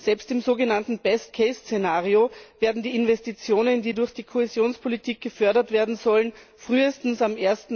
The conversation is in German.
Selbst im sogenannten Szenario werden die Investitionen, die durch die Kohäsionspolitik gefördert werden sollen, frühestens am